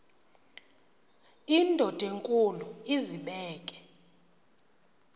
indod enkulu izibeke